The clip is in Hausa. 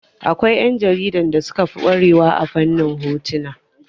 Akwai ƴan jaridan da suka fi ƙware wa a fannin hotuna